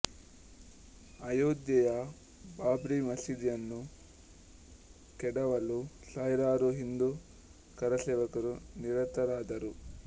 ಅಯೋಧ್ಯೆಯ ಬಾಬ್ರಿ ಮಸೀದಿಯನ್ನು ಕೆಡವಲು ಸಾವಿರಾರು ಹಿಂದೂ ಕರಸೇವಕರು ನಿರತರಾದರು